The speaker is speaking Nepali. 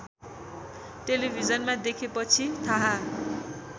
टेलिभिजनमा देखेपछि थाहा